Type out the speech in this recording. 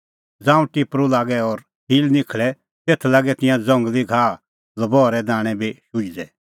ज़ांऊं टिपरू लागै और सील निखल़ै तेखअ लागै तिंयां ज़ंगली घाह लबहरे दाणैं बी शुझदै